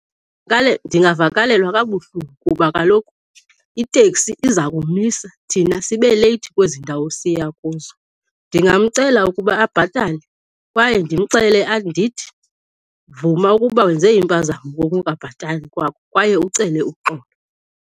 Ndingavakalelwa kabuhlungu kuba kaloku iteksi iza kumisa thina sibe leyithi kwezi ndawo siya kuzo. Ndingamcela ukuba abhatale kwaye ndimxelele ndithi, vuma ukuba wenze impazamo ngokungabhatali kwakho kwaye ucele uxolo.